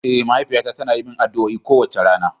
Eh, mahaifiyata tana yi mani addu'a kowace rana.